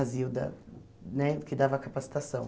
A Zilda, né que dava a capacitação.